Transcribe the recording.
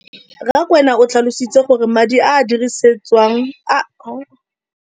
Rakwena o tlhalositse gore madi a a dirisediwang lenaane leno a okediwa ngwaga yo mongwe le yo mongwe go tsamaelana le